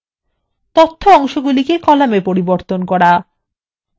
4 তথ্য অংশগুলিকে কলামএ পরিবর্তন করা